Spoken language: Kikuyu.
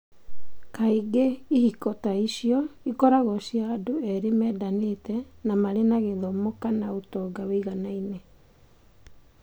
Kaingĩ ihiko ta icio ikoragwo cia andũ erĩ mendanĩte na marĩ na gĩthomo kana ũtonga wĩiganaine.